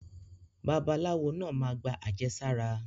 Babaláwo naa ma gba àjẹsára.